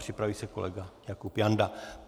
Připraví se kolega Jakub Janda.